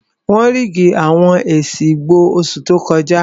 Wọ́n ríìgì àwọn èsì ìbò oṣù tó kọjá